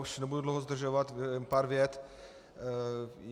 Už nebudu dlouho zdržovat, jen pár vět.